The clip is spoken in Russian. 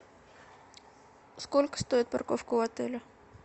сколько стоит парковка у отеля